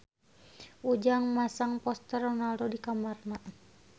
Ujang masang poster Ronaldo di kamarna